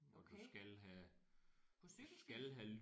Okay. På cykelsti?